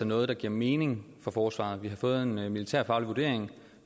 noget der giver mening for forsvaret vi har fået en militærfaglig vurdering